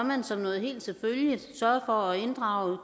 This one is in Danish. man som noget helt selvfølgeligt sørge for at inddrage